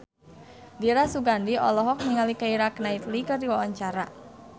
Dira Sugandi olohok ningali Keira Knightley keur diwawancara